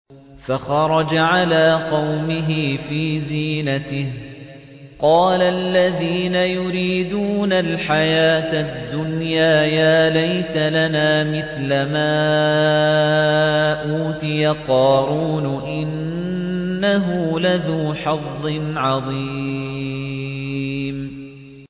فَخَرَجَ عَلَىٰ قَوْمِهِ فِي زِينَتِهِ ۖ قَالَ الَّذِينَ يُرِيدُونَ الْحَيَاةَ الدُّنْيَا يَا لَيْتَ لَنَا مِثْلَ مَا أُوتِيَ قَارُونُ إِنَّهُ لَذُو حَظٍّ عَظِيمٍ